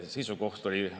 Hea istungi juhataja!